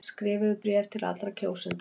Skrifuðu bréf til allra kjósenda.